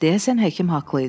Deyəsən həkim haqlı idi.